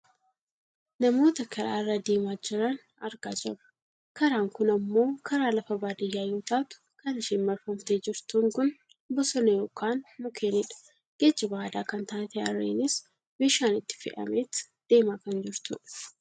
Namoota karaa irra deemaa jiran argaa jirra. Karaan kun ammoo karaa lafa baadiyyaa yoo taatu kan isheen marfamtee jirtuun kun bosona yookaan mukeenidha. Geejjiba aadaa kan taate harreenis meeshaan itti fe'ameet deemaa kan jirtudha.